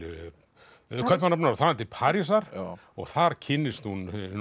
Kaupmannahafnar og þaðan til Parísar og þar kynnist hún hinu